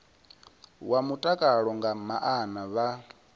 wa mutakalo nga maana vha